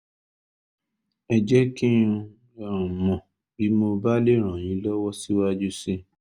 ẹ jẹ́ kí n um mọ̀ bí mo bá lè ràn yín lọ́wọ́ síwájú sí i